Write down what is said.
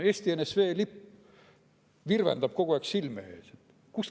Eesti NSV lipp virvendab kogu aeg silme ees.